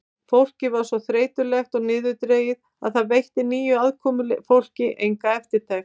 Fólkið var svo þreytulegt og niðurdregið að það veitti nýju komufólki enga eftirtekt.